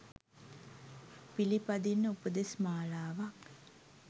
පිළිපදින්න උපදෙස් මාලාවක්